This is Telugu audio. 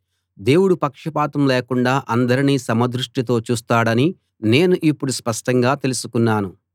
దేవుడు పక్షపాతం లేకుండా అందరినీ సమదృష్టితో చూస్తాడని నేను ఇప్పుడు స్పష్టంగా తెలుసుకున్నాను